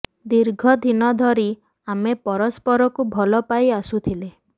ଦୀର୍ଘ ଦିନ ଧରି ଆମେ ପରସ୍ପରକୁ ଭଲ ପାଇ ଆସୁଥିଲେ